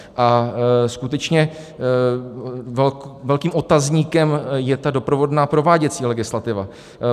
A skutečně velkým otazníkem je ta doprovodná prováděcí legislativa.